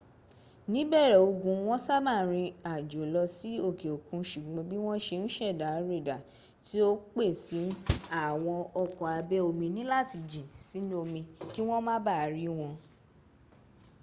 níbẹ̀rẹ̀ ogun wọn sábà rín àjò lọ sí òkè òkun ṣùgbọ́n bí wọn ṣe n ṣẹ̀dá rédà tí ó pé si àwọn ọkọ̀ abẹ́ omi níláti jìn sínú omí kí wọ́n ma baà rí wọn